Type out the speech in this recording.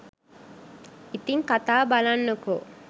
ඉතිං කතාව බලන්නකෝ.